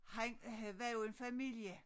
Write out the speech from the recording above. Han havde var jo en familie